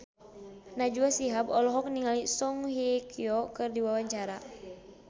Najwa Shihab olohok ningali Song Hye Kyo keur diwawancara